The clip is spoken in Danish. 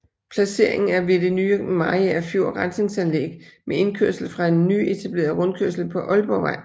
Placeringen er ved det nye Mariagerfjord Rensningsanlæg med indkørsel fra en nyetableret rundkørsel på Ålborgvej